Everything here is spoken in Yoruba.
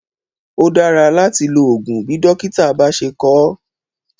Ó dára láti lo oògùn bí dókítà bá ṣé kọ ọ́.